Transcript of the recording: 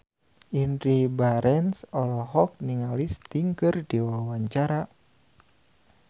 Indy Barens olohok ningali Sting keur diwawancara